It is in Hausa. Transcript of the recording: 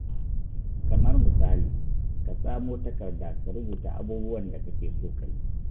Kamar misali, ka samo takarda ka rubuta abubuwan da kake so ka yi.